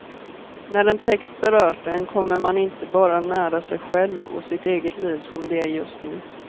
När en text berört en kommer man inte bara nära sig själv och sitt eget liv som det är just nu.